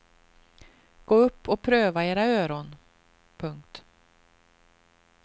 Gå upp och pröva era öron. punkt